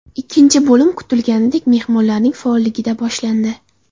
Ikkinchi bo‘lim kutilganidek mehmonlarning faolligida boshlandi.